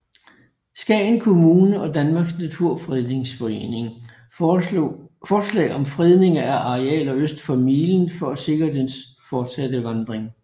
Skagen Kommune og Danmarks Naturfredningsforening forslag om fredning af arealer øst for milen for at sikre dens fortsatte vandring